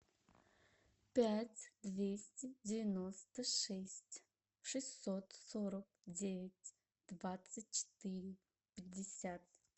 пять двести девяносто шесть шестьсот сорок девять двадцать четыре пятьдесят